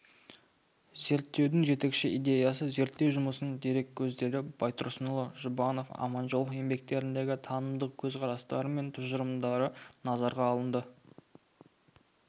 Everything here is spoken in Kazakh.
зерттеудің жетекші идеясы зерттеу жұмысының дереккөздері байтұрсынұлы жұбанов аманжолов еңбектеріндегі танымдық көзқарастары мен тұжырымдары назарға алынды